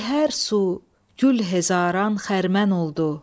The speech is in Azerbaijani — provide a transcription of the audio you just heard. Be hər su gül hezaran xərmən oldu.